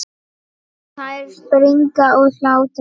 Þær springa úr hlátri.